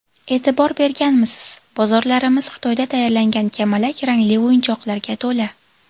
E’tibor berganmisiz, bozorlarimiz Xitoyda tayyorlangan kamalak rangli o‘yinchoqlarga to‘la.